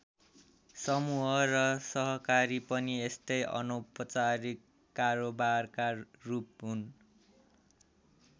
समूह र सहकारी पनि यस्तै अनौपचारिक कारोबारका रूप हुन्।